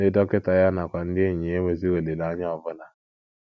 Ndị dọkịta ya nakwa ndị enyi ya enweghịzi olileanya ọ bụla.